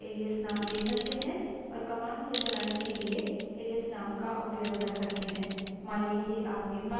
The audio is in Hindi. इस मामले में हम इसे एक छोटा एलाइस name दे सकते हैं और कमांड को चलाने के लिए एलाइस name का उपयोग कर सकते हैं